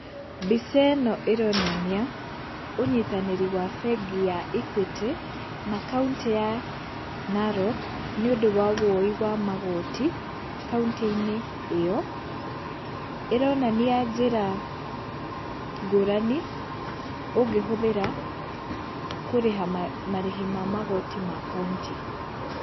Mbica ĩno ĩronania, ũnyitanĩri wa bengi ya Equity, na kauntĩ ya Narok, nĩũndũ wa woi wa magoti, kauntĩ-inĩ ĩyo, ĩronania njĩra ngũrani, ũngĩhũthĩra kũrĩha marĩhi ma magoti ma kauntĩ.